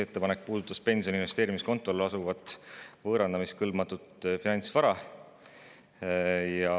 Ettepanek puudutas pensioni investeerimiskontol asuvat võõrandamiskõlbmatut finantsvara.